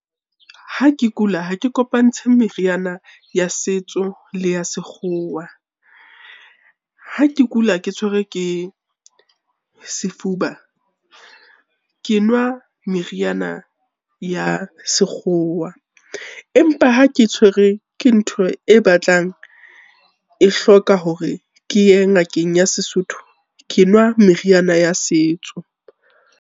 Ha ke kula ha ke kopantshe meriana ya setso le ya sekgowa. Ha ke kula, ke tshwerwe ke sefuba, ke nwa meriana ya sekgowa empa ha ke tshwere ke ntho e batlang, e hloka hore ke ye ngakeng ya Sesotho ke nwa meriana ya setso.